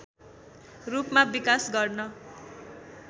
रूपमा विकास गर्न